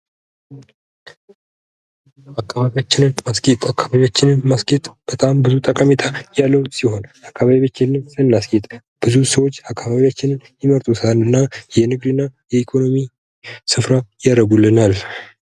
አካባቢያችን ማስጌጥ በጣም ብዙ ጠቀሜታ ያለው ሲሆን አካባቢያችንን እናስጌጥ ብዙ ሰዎች አካባቢዎችን የመርጡታና የንግድና የኢኮኖሚ ስፍራ ያረጉልናል።